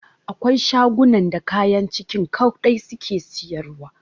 Akwai shagunan da kayan Kicin kaɗai suke siyarwa.